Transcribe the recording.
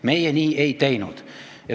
Meie nii ei teinud.